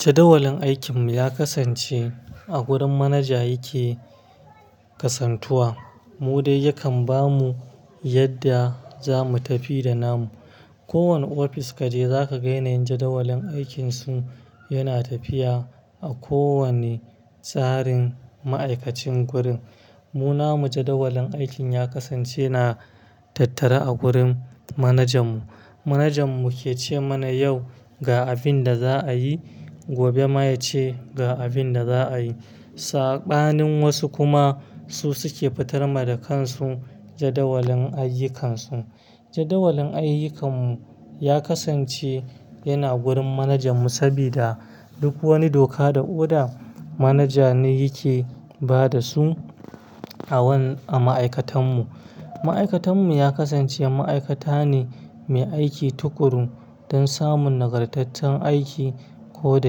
Jadawalin aikin mu ya kasance a gurin manaja yake kasantuwa, mu dai yakan bamu yadda zamu tafi da namu. Kowane ofis ka je, zaka ga yanayin jadawalin aikin su yana tafiya a kowanne tsarin ma'aikacin gurin. Mu namu jadawalin aikin ya kasance na tattare a gurin manajan mu. Manajan mu ke ce mana yau ga abin da za a yi, gobe ma ya ce ga abin da za a yi. Saɓanin wasu kuma su suke fitarma da kansu jadawalin ayyukan su. Jadawalin ayyukan mu ya kasance yana gurin manajan mu sabida duk wani doka da oda, manaja ne yake ba da su awan-- a ma'aikatan mu. Ma'aikatan mu ya kasance ma'aikata ne mai aiki tukuru don samun nagartattun aiki ko da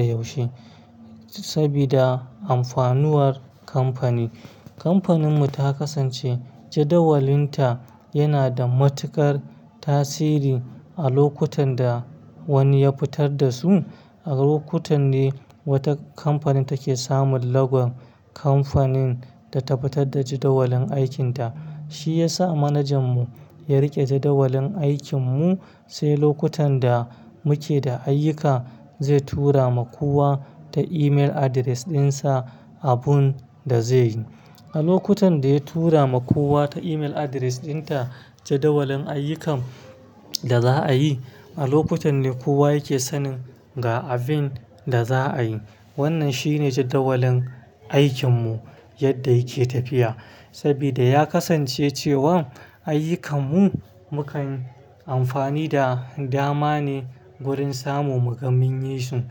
yaushe sabida amfanuwar kamfani. Kamfanin mu ta kasance jadawalinta yana da matuƙar tasiri a lokutan da wani ya fitar da su. A lokutan ne wata kamfani take samun lagon kamfanin da ta fitar da jadawalin aikinta. Shi ya sa manajan mu ya riƙe jadawalin aikin mu, sai lokutan da muke da ayyuka zai tura ma kowa ta email address ɗinsa abun da zai yi. A lokutan da ya tura ma kowa ta email address dinta jadawalin ayyukan da za'a yi, a lokutan ne kowa yake sanin ga abin da za a yi. Wannan shi ne jadawalin aikin mu yadda yake tafiya. Sabida ya kasance cewan ayyukan mu, mukan amfani da dama ne gurin samun muga min yi su.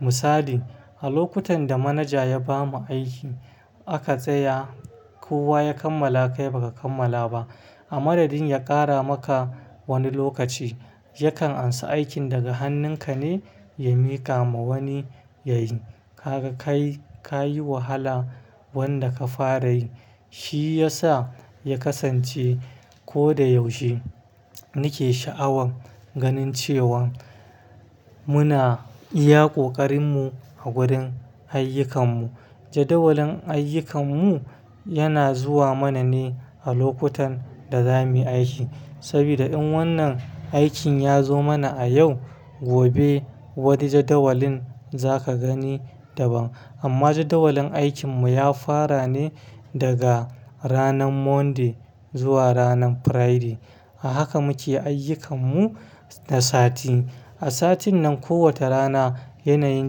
Misali, a lokutan da manaja ya bamu aiki, aka tsaya kowa ya kammala kai baka kammala ba. A madadin ya ƙara maka wani lokaci, yakan ansa aikin daga hannunka ne ya mika ma wani ya yi. Kaga kai, ka yi wahala wanda ka fara yi. Shi ya sa ya kasance ko da yaushe muke sha'awan ganin cewa muna iya ƙoƙarin mu a gurin ayyukan mu. Jadawalin ayyukan mu yana zuwa mana ne a lokutan da zamu yi aiki. Sabida in wannan aikin ya zo mana a yau, gobe wani jadawalin za ka gani daban. Amma jadawalin aikin mu ya fara ne daga ranan Monday zuwa ranan Friday. A haka muke ayyukan mu na sati. A satin nan, kowace rana yanayin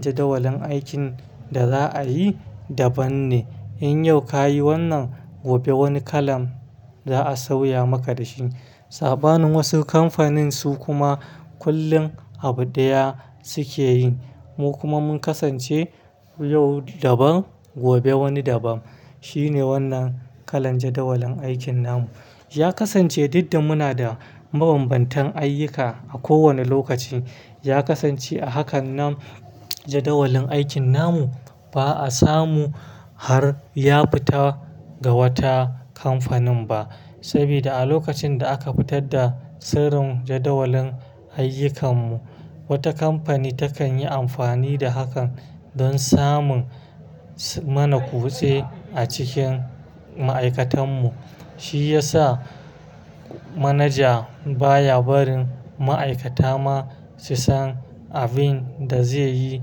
jadawalin aikin da za'a yi daban ne. In yau ka yi wannan, gobe wani kalan za'a sauya maka da shi. Saɓanin wasu kamfanin su kuma kullum abu ɗaya suke yi. Mu kuma mun kasance yau daban, gobe wani daban. Shi ne wannan kalan jadawalin aikin namu. Ya kasance dad da muna da mabanbantan ayyuka a kowane lokaci. Ya kasance a hakan nan jadawalin aikin namu ba'a samu har ya fita ga wata kamfanin ba. Sabida a lokacin da aka fitar da sirrin jadawalin ayyukan mu, wata kamfani takan yi amfani da hakan don samun s-- mana kutse a cikin ma'aikatan mu. Shi ya sa manaja baya barin ma'aikata ma su san abin da zai yi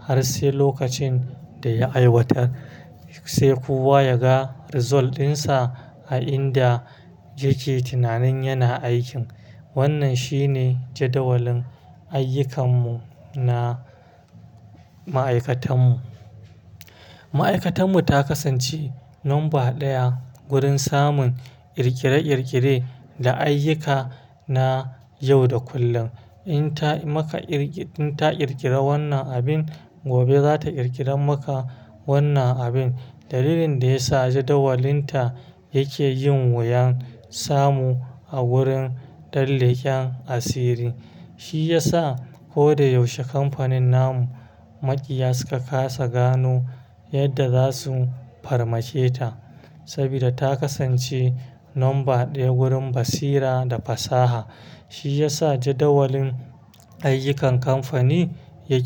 har sai lokacin da ya aiwatar. Sai kowa ya ga result ɗinsa a inda yake tunanin yana aikin. Wannan shi ne jadawalin ayyukan mu na ma'aikatan mu. Ma'aikatan mu ta kasance number ɗaya gurin samun ƙirƙire-ƙirƙire da ayyuka na yau da kullum. In ta maka ƙirki-- in ta ƙirƙire wannan abin, gobe za ta ƙirƙire maka wannan abin. Dalilin da ya sa jadawalinta yake yin wuyan samu a gurin ɗan leken asiri, shi ya sa ko da yaushe kamfanin namu maƙiya suka ƙasa gano yadda za su farmaketa. Sabida ta kasance number ɗaya gurin basira da fasaha. Shi ya sa jadawalin ayyukan kamfani yake.